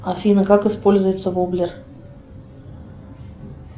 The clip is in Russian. афина как используется воблер